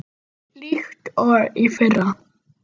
Hulda Ósk.